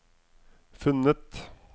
funnet